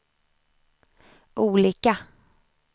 olika